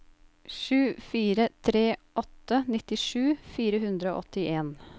sju fire tre åtte nittisju fire hundre og åttien